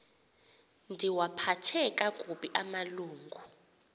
ndiwaphathe kakubi amalungu